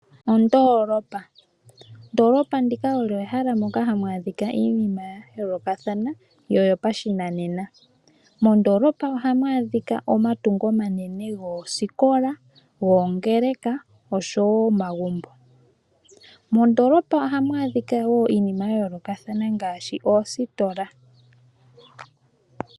Ondoolopa. Ondoolopa ndika olyo ehala moka hamu adhika iinima ya yoolokathana noyopashinanena. Mondolopa ohamu adhika omatungo omanene goosikola, goongeleka oshowoo omagumbo. Mondolopa ohamu adhika wo iinima ya yoolokathana ngaashi oositola.